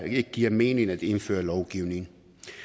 ikke giver mening at indføre lovgivning